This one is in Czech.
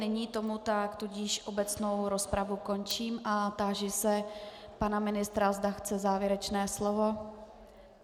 Není tomu tak, tudíž obecnou rozpravu končím a táži se pana ministra, zda chce závěrečné slovo.